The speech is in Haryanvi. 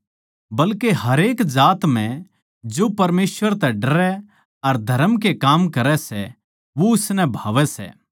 बल्के हरेक जात म्ह जो परमेसवर तै डरै अर धरम के काम करै सै वो उसनै भावै सै